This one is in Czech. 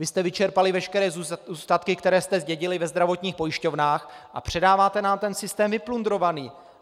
Vy jste vyčerpali veškeré zůstatky, které jste zdědili ve zdravotních pojišťovnách, a předáváte nám ten systém vyplundrovaný.